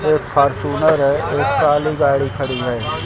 एक फॉरच्यूनर है। एक काली गाड़ी खड़ी है।